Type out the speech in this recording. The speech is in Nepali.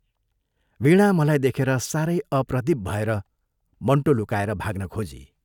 वीणा मलाई देखेर सारै अप्रतिभ भएर मन्टो लुकाएर भाग्न खोजी।